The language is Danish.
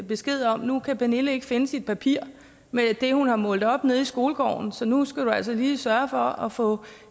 besked om at nu kan pernille ikke finde sit papir med det hun har målt op nede i skolegården så nu skal du altså lige sørge for at få